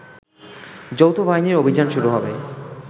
যৌথবাহিনীর অভিযান শুরু হবে